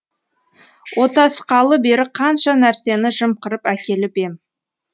отасқалы бері қанша нәрсені жымқырып әкеліп ем